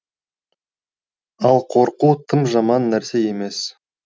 ал қорқу тым жаман нәрсе емес